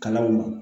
Kalanw ma